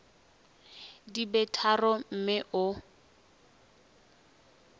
di be tharo mme o